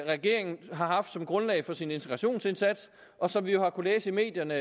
regeringen har haft som grundlag for sin integrationsindsats og som vi jo har kunnet læse i medierne